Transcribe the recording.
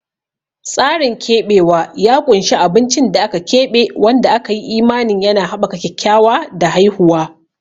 Tsarin keɓewa ya ƙunshi abincin da aka keɓe wanda aka yi imanin yana haɓaka kyakkyawa da haihuwa.